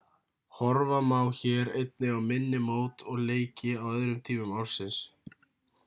horfa má hér einnig á minni mót og leiki á öðrum tímum ársins